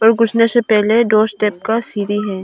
और घुसने से पहले दो स्टेप का सीरी है।